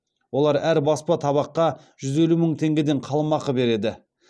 олар әр баспа табаққа жүз елу мың теңгеден қаламақы береді